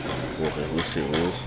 ho re ho se ho